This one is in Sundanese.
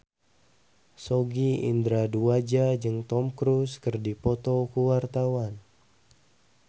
Sogi Indra Duaja jeung Tom Cruise keur dipoto ku wartawan